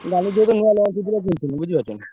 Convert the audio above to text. ନୁଆ lunch ହେଇଥିଲା କିନିଥିଲି ବୁଝି ପାରୁଛ ନା।